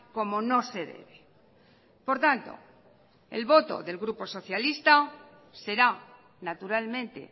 como no se debe por tanto el voto del grupo socialista será naturalmente